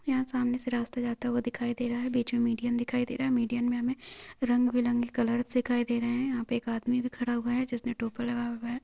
यहाँ सामने से रास्ता जाता हुआ दिखाई दे रहा है बीच मे मीडीयम दिखाई दे रहा है मीडीयन मे हमे रंग बिरंगे कलर्स दिखाई दे रहे है यहाँ पे एक आदमी भी खड़ा हुआ है जिसने टोपा लगाया हुआ हैं।